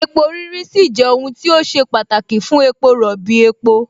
epo rírí sì jẹ́ ohun tí ó ṣe pàtàkì fún epo rọ̀bì, epo